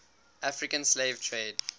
african slave trade